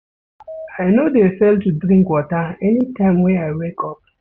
I no dey fail to drink water anytime wey I wake up.